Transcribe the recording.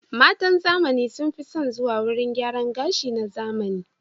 Matan zamani sun fi son zuwa wurin gyaran gashi na zamani.